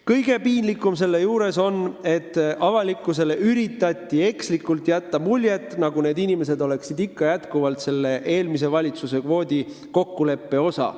Kõige piinlikum selle juures on, et avalikkusele on üritatud jätta mulje, et nende inimeste vastuvõtmise näol on tegu eelmise valitsuse kvoodikokkuleppe osaga.